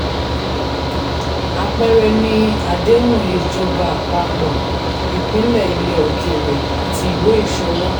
àpẹẹrẹ ni àdéhùn ìjọba àpapọ̀ ìpínlẹ̀ ilẹ̀ òkèèrè àti ìwé ìṣòwò.